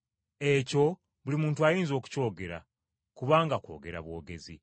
Ekyo buli muntu ayinza okukyogera, kubanga kwogera bwogezi.